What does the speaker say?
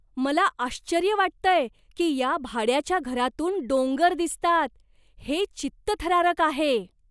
मला आश्चर्य वाटतंय की या भाड्याच्या घरातून डोंगर दिसतात. हे चित्तथरारक आहे!